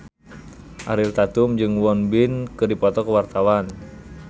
Ariel Tatum jeung Won Bin keur dipoto ku wartawan